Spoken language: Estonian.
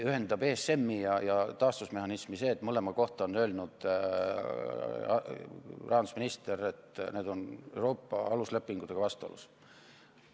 ESM-i ja taastusmehhanismi ühendab see, et mõlema kohta on öelnud rahandusminister, et need on Euroopa aluslepinguga vastuolus.